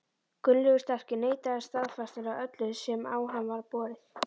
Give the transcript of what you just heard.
Gunnlaugur sterki neitaði staðfastlega öllu sem á hann var borið.